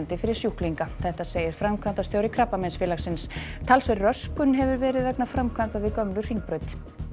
fyrir sjúklinga segir framkvæmdastjóri Krabbameinsfélagsins talsverð röskun hefur verið vegna framkvæmda við gömlu Hringbraut